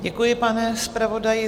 Děkuji, pane zpravodaji.